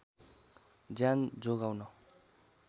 ज्यान जोगाउन